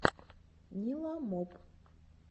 ниламоп